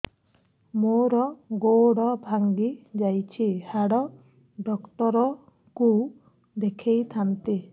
ମୋର ଗୋଡ ଭାଙ୍ଗି ଯାଇଛି ହାଡ ଡକ୍ଟର ଙ୍କୁ ଦେଖେଇ ଥାନ୍ତି